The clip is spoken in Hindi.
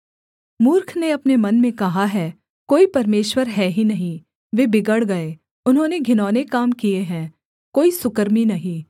मूर्ख ने अपने मन में कहा है कोई परमेश्वर है ही नहीं वे बिगड़ गए उन्होंने घिनौने काम किए हैं कोई सुकर्मी नहीं